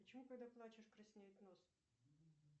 почему когда плачешь краснеет нос